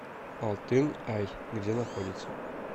алтын ай где находится